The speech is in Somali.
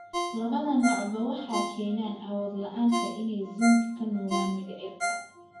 Labada noocba waxay keenaan awood la'aanta inay zinc ka nuugaan mindhicirka.